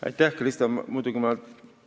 Aitäh, Krista!